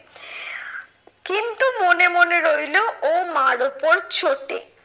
কিন্তু মনে মনে রইলো ও মার উপর চোটে।